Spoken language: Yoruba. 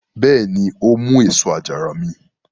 Bẹ́ẹ̀ni, ó mú èso àjàrà mi.